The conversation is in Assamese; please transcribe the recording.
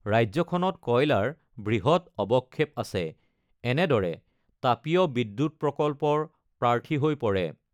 ৰাজ্যখনত কয়লাৰ বৃহৎ অৱক্ষেপ আছে, এনেদৰে তাপীয় বিদ্যুৎ প্ৰকল্পৰ প্ৰাৰ্থী হৈ পৰে।